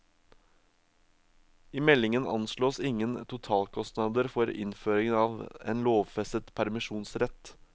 I meldingen anslås ingen totalkostnader for innføringen av en lovfestet permisjonsrett.